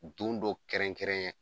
Don dɔ kɛrɛnkɛrɛn